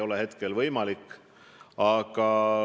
See ei ole praegu võimalik.